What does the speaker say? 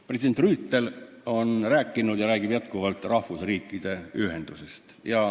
President Rüütel on rääkinud ja räägib jätkuvalt rahvusriikide ühendusest.